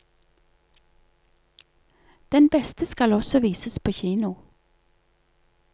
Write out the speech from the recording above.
Den beste skal også vises på kino.